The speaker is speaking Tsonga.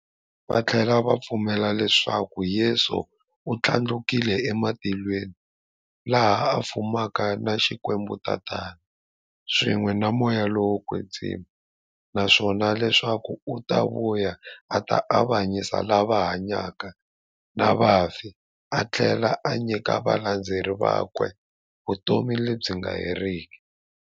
Vathlela va pfumela leswaku Yesu u thlandlukele e matilweni, laha a fumaka na Xikwembu-Tatana, swin'we na Moya lowo kwetsima, naswona leswaku u ta vuya a ta avanyisa lava hanyaka na vafi athlela a nyika valandzeri vakwe vutomi lebyi nga heriki.